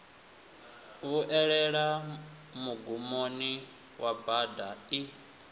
vhuelela mugumoni wa bada i